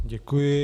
Děkuji.